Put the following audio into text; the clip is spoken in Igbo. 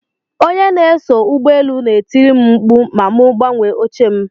Onye na-eso ụgbọ elu n'etiri m mkpu ma mu gbanwee oche m.